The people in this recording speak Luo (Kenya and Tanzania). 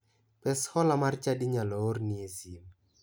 Pes hola mar chadi inyalo orni e sim.